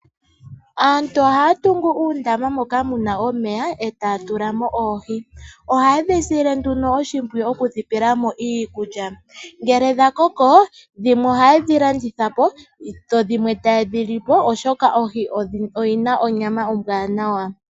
Aantu ohaa tungu uundama moka muna omeya , e taa tula mo oohi. Ohaye dhi sile nduno oshipwiyu okudhipela mo iikulya ngele dha koko dhimwe ohaye dhi landithapo , dho dhimwe taye dhi lipo, oshoka oohi odhina onyama ombwanawa.